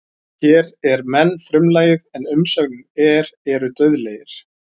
Hér er menn frumlagið en umsögnin er eru dauðlegir.